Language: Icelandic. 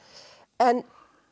en